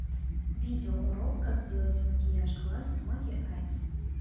видео урок как сделать макияж глаз смоки айс